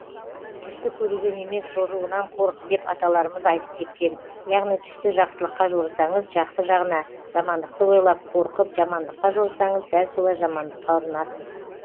түсті көруден емес жоруынан қорық деп аталарымыз айтып кеткен яғни түсті жақсылыққа жорысаңыз жақсы жағына жамандықты ойлап қорқып жамандыққа жорысаңыз дәл солай жамандыққа ұрынасыз